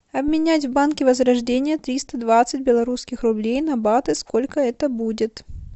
обменять в банке возрождение триста двадцать белорусских рублей на баты сколько это будет